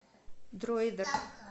дроидер